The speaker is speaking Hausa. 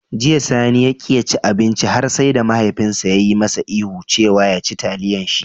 Jiya, Sani ya ƙi ya ci abinci har sai da mahaifinsa ya yi masa ihu cewa "ya ci taliyan shi"